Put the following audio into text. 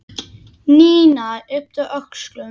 Nína yppti öxlum.